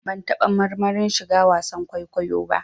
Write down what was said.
Ban taɓa marmarin shiga wasan kwaikwayo ba